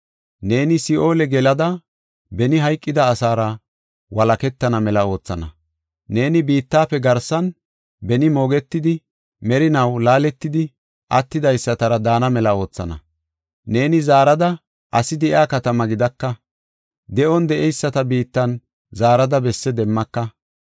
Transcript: Neeni si7oole gelada beni hayqida asaara walaketana mela oothana. Neeni biittafe garsan, beni moogetidi, merinaw laaletidi attidaysatara daana mela oothana. Neeni zaarada asi de7iya katama gidaka; de7on de7eyisata biittan zaarada besse demmaka.